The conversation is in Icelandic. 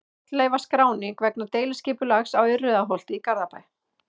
Fornleifaskráning vegna deiliskipulags á Urriðaholti í Garðabæ.